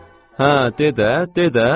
Hə, de də, de də.